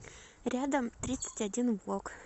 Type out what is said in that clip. рядом тридцать один блок